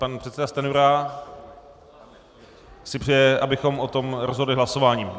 Pan předseda Stanjura si přeje, abychom o tom rozhodli hlasováním.